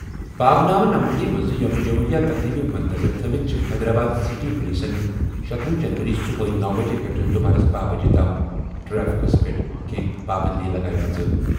باغ نامہ نمپلی منٛز یوم جمہوریہ تقریبہِ مدنظر تھٲوِتھ چھِ حیدرآباد سٹی پولیسَن شتۄہُ جنوری صبحٲے نوَ بجے پٮ۪ٹھ دُپہرَس بہہَ بجے تام ٹریفکَس پٮ۪ٹھ کینٛہہ پابٔنٛدی لگٲومٕژ۔